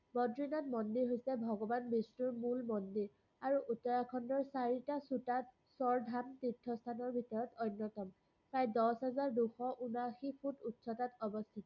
বদ্ৰীনাথ মন্দিৰ হৈছে ভগবান বিষ্ণুৰ মূল মন্দিৰ। আৰু উত্তৰাখণ্ডৰ চাৰিটা শ্ৰোতাত স্বৰধাম তীৰ্থস্থানৰ ভিতৰত অন্যতম। প্ৰায় দশ হাজাৰ দুশ উনআশী ফুট উচ্চতাত অৱস্থিত।